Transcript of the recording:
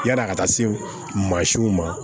Yan'a ka taa se maa siw ma